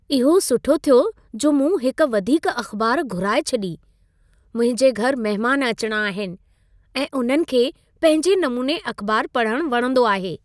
इहो सुठो थियो जो मूं हिक वधीक अख़बार घुराए छॾी! मुंहिंजे घर महिमान अचिणा आहिनि ऐं उन्हनि खे पंहिंजे नमूने अख़बारु पढ़णु वणंदो आहे।